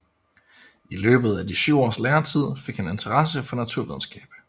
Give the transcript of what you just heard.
I løbet af de syv års læretid fik han interesse for naturvidenskab